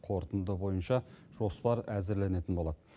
қорытынды бойынша жоспар әзірленетін болады